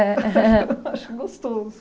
Acho acho gostoso.